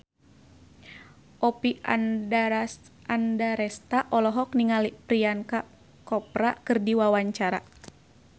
Oppie Andaresta olohok ningali Priyanka Chopra keur diwawancara